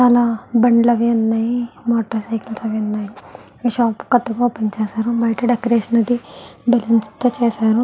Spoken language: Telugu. చాలా బండ్లు అవి ఉన్నాయి మోటర్ సైకిల్స్ అవి ఉన్నాయి. ఈ షాప్ కొత్తగా ఓపెన్ చేశారు బయట డెకరేషన్ అది బెలూన్స్ తో చేశారు.